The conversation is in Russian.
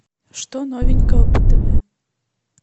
что новенького по тв